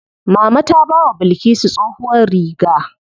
Mama ta bawa Bilkisu tsohuwar riga.